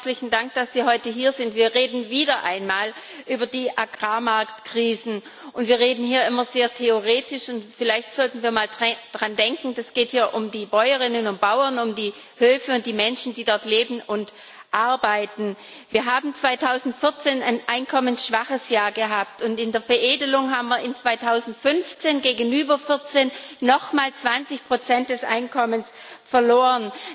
Herr Kommissar, herzlichen Dank, dass Sie heute hier sind. Wir reden wieder einmal über die Agrarmarkt Krisen, und wir reden hier immer sehr theoretisch, und vielleicht sollten wir mal daran denken Es geht hier um die Bäuerinnen und Bauern, um die Höfe und um die Menschen, die dort leben und arbeiten. Wir haben 2014 ein einkommensschwaches Jahr gehabt, und in der Veredelung haben wir 2015 gegenüber 2014 noch einmal 20 Prozent des Einkommens verloren.